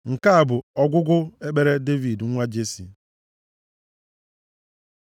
Nke a bụ ọgwụgwụ ekpere Devid nwa Jesi.